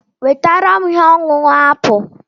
Wetara m ihe ọṅụṅụ apụl.